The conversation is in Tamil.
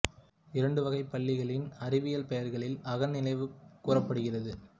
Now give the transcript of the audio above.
இரண்டு வகை பல்லிகளின் அறிவியல் பெயர்களில் அகல் நினைவு கூறப்படுகிறார்